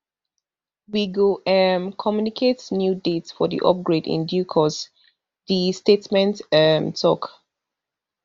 we go um communicate new date for di upgrade in due course di statement um tok